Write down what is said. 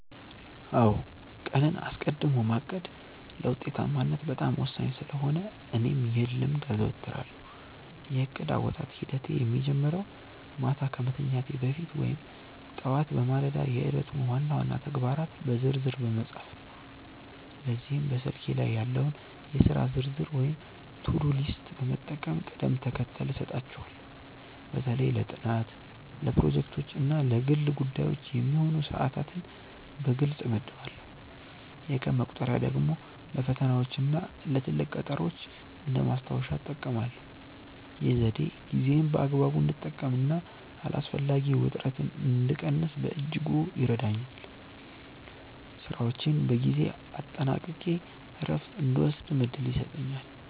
አዎ ቀንን አስቀድሞ ማቀድ ለውጤታማነት በጣም ወሳኝ ስለሆነ እኔም ይህን ልምድ አዘወትራለሁ። የእቅድ አወጣጥ ሂደቴ የሚጀምረው ማታ ከመተኛቴ በፊት ወይም ጠዋት በማለዳ የዕለቱን ዋና ዋና ተግባራት በዝርዝር በመጻፍ ነው። ለዚህም በስልኬ ላይ ያለውን የሥራ ዝርዝር ወይም ቱዱ ሊስት በመጠቀም ቅደም ተከተል እሰጣቸዋለሁ። በተለይ ለጥናት፣ ለፕሮጀክቶች እና ለግል ጉዳዮች የሚሆኑ ሰዓታትን በግልጽ እመድባለሁ። የቀን መቁጠሪያ ደግሞ ለፈተናዎችና ለትልቅ ቀጠሮዎች እንደ ማስታወሻ እጠቀማለሁ። ይህ ዘዴ ጊዜዬን በአግባቡ እንድጠቀምና አላስፈላጊ ውጥረትን እንድቀንስ በእጅጉ ይረዳኛል። ስራዎቼን በጊዜ አጠናቅቄ እረፍት እንድወስድም እድል ይሰጠኛል።